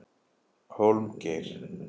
Hólmgeir